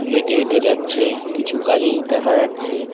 হেঁটে হেঁটে যাচ্ছে কিছু গাড়ি দেখা যাচ্ছে।